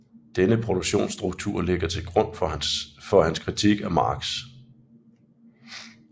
Denne produktionsstruktur ligger til grund for hans kritik af Marx